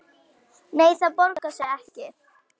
Nei, það borgar sig ekki.